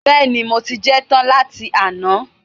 Bẹ́ẹ̀ni, mo ti jẹ ẹ́ tán láti àná